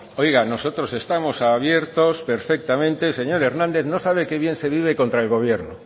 oiga nosotros estamos abiertos perfectamente señor hernández no sabe qué bien se vive contra el gobierno